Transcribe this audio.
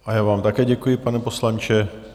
A já vám také děkuji, pane poslanče.